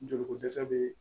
Joli ko dɛsɛ bɛ